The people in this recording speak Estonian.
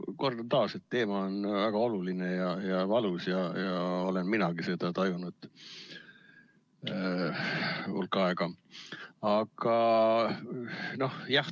Kordan taas, et teema on väga oluline ja valus, olen minagi seda tajunud hulk aega.